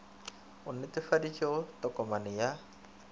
e netefaditšwego ya tokomane ya